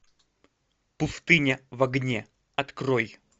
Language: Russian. пустыня в огне открой